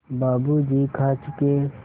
बाबू जी खा चुके